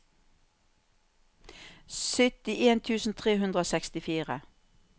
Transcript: syttien tusen tre hundre og sekstifire